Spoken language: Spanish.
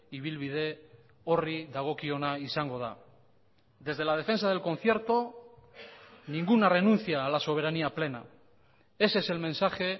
ibilbide horri dagokiona izango da desde la defensa del concierto ninguna renuncia a la soberanía plena ese es el mensaje